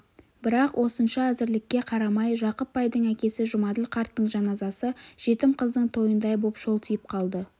бірақ осынша әзірлікке қарамай жақып байдың әкесі жұмаділ қарттың жаназасы жетім қыздың тойындай боп шолтиып қалды